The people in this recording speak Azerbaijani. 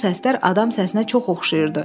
Bu səslər adam səsinə çox oxşayırdı.